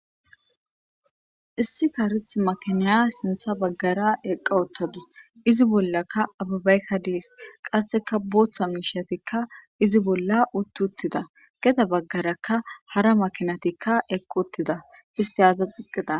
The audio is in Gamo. issi karethi makinaya sintha baggara eqqa ottadus izi bollakka ababaykka dees qasseka booththa miishatikka izi bolla utt uttida geda baggarakka hara makinatikka eqqauttida isti adzda xiqqida